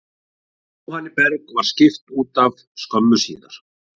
Jóhanni Berg var skipt útaf skömmu síðar.